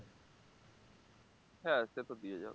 হ্যাঁ সে তো দিয়ে যাবে